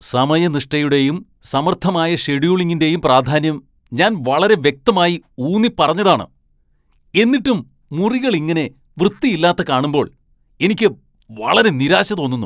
സമയനിഷ്ഠയുടെയും സമർത്ഥമായ ഷെഡ്യൂളിംഗിന്റെയും പ്രാധാന്യം ഞാൻ വളരെ വ്യക്തമായി ഊന്നിപ്പറഞ്ഞതാണ് , എന്നിട്ടും മുറികൾ ഇങ്ങനെ വൃത്തിയില്ലാത്ത കാണുമ്പോൾ എനിക്ക് വളരെ നിരാശ തോന്നുന്നു !